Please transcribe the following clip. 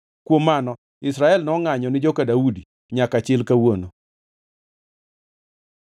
Kuom mano Israel nongʼanyo ni joka Daudi nyaka chil kawuono.